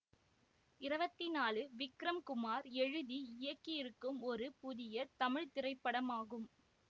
இருபத்தி நாழூ விக்ரம் குமார் எழுதி இயக்கிருக்கும் ஒரு புதிய தமிழ் திரைப்படமாகும்